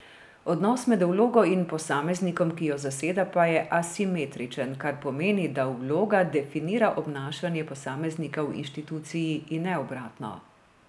Odnos med vlogo in posameznikom, ki jo zaseda, pa je asimetričen, kar pomeni, da vloga definira obnašanje posameznika v inštituciji, in ne obratno.